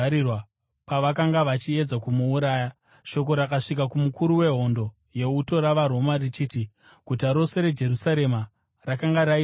Pavakanga vachiedza kumuuraya, shoko rakasvika kumukuru wehondo yeuto ravaRoma richiti guta rose reJerusarema rakanga raita bope.